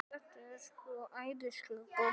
Þetta er svo æðisleg borg.